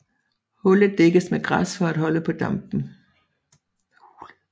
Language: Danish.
Hulet dækkes med græs for at holde på dampen